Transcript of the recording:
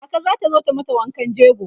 kaka zata zo ta mata wankan jego